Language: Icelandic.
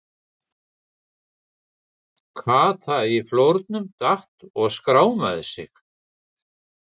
Kata í flórnum, datt og skrámaði sig.